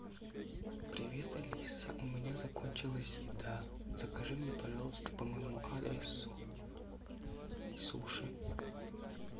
привет алиса у меня закончилась еда закажи мне пожалуйста по моему адресу суши